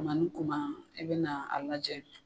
Kuma ni kuma i bɛ na a lajɛ.